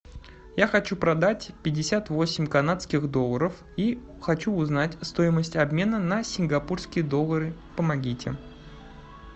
я хочу продать пятьдесят восемь канадских долларов и хочу узнать стоимость обмена на сингапурские доллары помогите